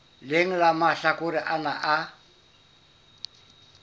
leng la mahlakore ana a